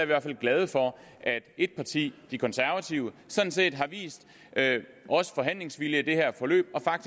hvert fald glade for at ét parti de konservative sådan set har vist forhandlingsvilje i det her forløb og